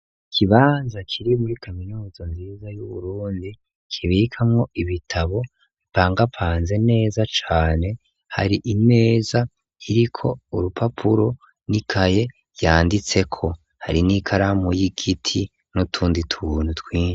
Ikibanza kiri muri kaminuzo nziza y'uburundi kibikamwo ibitabo bipangapanze neza cane hari imeza iriko urupapuro ni kaye yanditseko hari n'ikaramu y'igiti n'utundi tuntu twine.